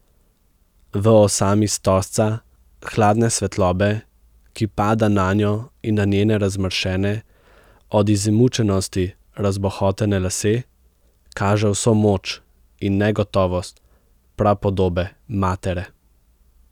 V osami stožca hladne svetlobe, ki pada nanjo in na njene razmršene, od izmučenosti razbohotene lase, kaže vso moč in negotovost prapodobe matere.